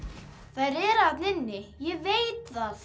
þær eru þarna inni ég veit það